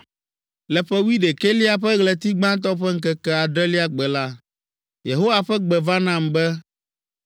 Le ƒe wuiɖekɛlia ƒe ɣleti gbãtɔ ƒe ŋkeke adrelia gbe la, Yehowa ƒe gbe va nam be,